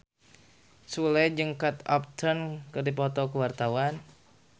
Sule jeung Kate Upton keur dipoto ku wartawan